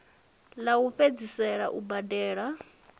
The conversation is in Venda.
ḽa u fhedzisela u badela